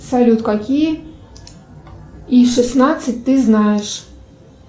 салют какие и шестнадцать ты знаешь